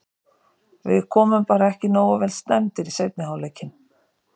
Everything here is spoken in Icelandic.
Við komum bara ekki nógu vel stemmdir í seinni hálfleikinn.